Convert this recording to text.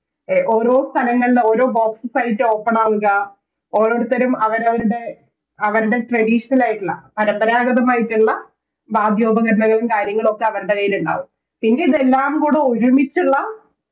A ഓരോ സ്ഥലങ്ങളിൽ ഓരോ Boxes ആയിട്ട് Open ആവുക ഒരോർത്തരും അവരവരുടെ അവരുടെ Traditional ആയിട്ടുള്ള പാരമ്പരാഗതമായിട്ടുള്ള വാദ്യോപകരണങ്ങളും കാര്യങ്ങളൊക്കെ അവരുടെ കൈയിലുണ്ടാകും ശെരിക്കിതെല്ലാം കൂടി ഒരുമിച്ചുള്ള